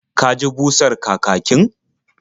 Ka ji busar kakakin?